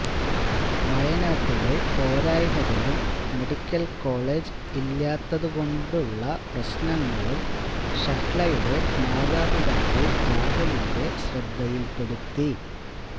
വയനാട്ടിലെ പോരായ്മകളും medical college ഇല്ലാത്തതുകൊണ്ടുള്ള പ്രശ്നങ്ങളും ഷഹ്ലയുടെ മാതാപിതാക്കള് രാഹുലിന്റെ ശ്രദ്ധയില്പ്പെടുത്തി